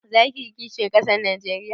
Za ka yi kisihin ƙasar Najeriya?